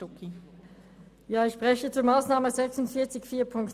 Ich spreche zur Massnahme 46.4.2.